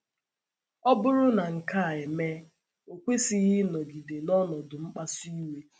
Ọ bụrụ na nke a emee, o kwesịghị ịnọgide “ n’ọnọdụ mkpasu iwe. ”